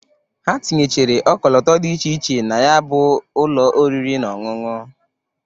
Ha tinyechere ọkọlọtọ dị iche iche na ya bụ ụlọ oriri na ọṅụṅụ.